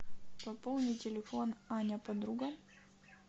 пополни телефон аня подруга